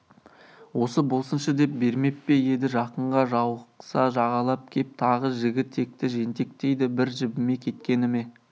осы болсыншы деп бермеп пе-еді жақынға жауықса жағалап кеп тағы жігі текті жентектейді бір жібімей кеткені ме